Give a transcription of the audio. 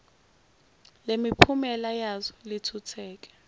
lemiphumela yazo lithuthuke